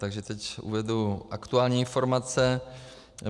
Takže teď uvedu aktuální informace.